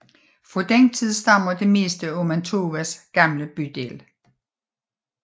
Fra den tid stammer det meste af Mantovas gamle bydel